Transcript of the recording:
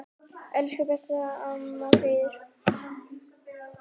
Elsku besta amma Fríða.